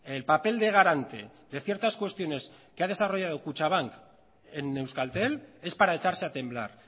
el papel de garante de ciertas cuestiones que ha desarrollado kutxabank en euskaltel es para echarse a temblar